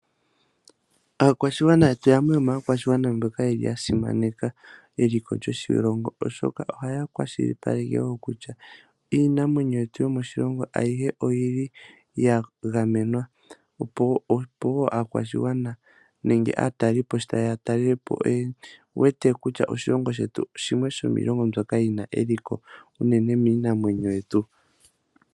Aakwashigwana yetu yamwe yo maakwashigwana mboka ya simaneka eliko lyoshilongo, oshoka ohaya kwashilipaleke wo kutya iinamwenyo yetu yo moshilongo ayihe oyili ya gamenwa. Opo aakwashigwana nenge aatalelipo sho ta yeya ya talelepo oye wete kutya oshilongo shetu shimwe sho miilongo mbyoka yina eliko unene miinamwenyo yetu.